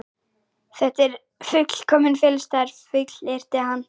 Þetta er fullkominn felustaður, fullyrti hann.